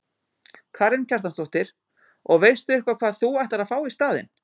Karen Kjartansdóttir: Og veistu eitthvað hvað þú ætlar að fá í staðinn?